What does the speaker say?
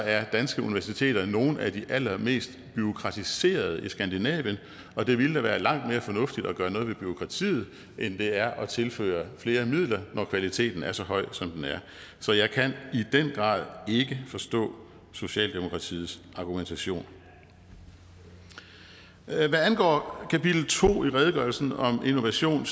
er danske universiteter nogle af de allermest bureaukratiserede i skandinavien og det ville da være langt mere fornuftigt at gøre noget ved bureaukratiet end det er at tilføre flere midler når kvaliteten er så høj som den er så jeg kan i den grad ikke forstå socialdemokratiets argumentation hvad angår kapitel to i redegørelsen om innovation